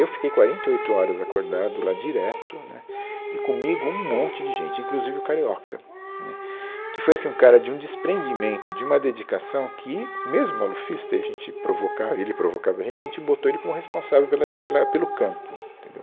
Eu fiquei quarenta e oito horas acordado lá direto, né, e comigo um monte de gente, inclusive o Carioca, né, que foi assim um cara de um desprendimento, de uma dedicação que, mesmo malufista, e a gente provocava, e ele provocava a gente, a gente botou ele como responsável pela, pela, pelo campo, entendeu?